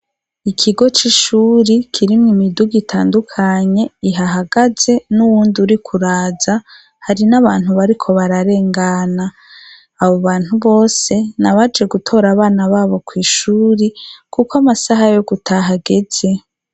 Ikigo c'ishuri kirimwo imidugu itandukanye ihahagaze n'uwundi uriko uraza, hari n'abantu bariko bararengana, abo bantu bose nabaje gutora abana babo kw'ishuri kuko amasaha yo gutaha ageze.